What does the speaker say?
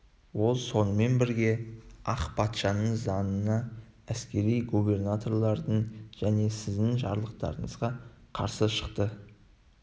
ол сонымен бірге ақ патшаның заңына әскери губернатордың және сіздің жарлықтарыңызға қарсы шықты